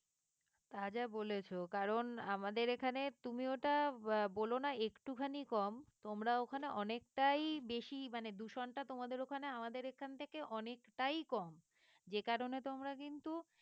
তা যা বলেছ কারণ আমাদের এখানে তুমি ওটা আহ বলোনা একটুখানি কম তোমরা ওখানে অনেকটাই বেশি মানে দূষণটা তোমাদের ওখানে আমাদের এখান থেকে অনেকটাই কম যে কারণে তোমরা কিন্তু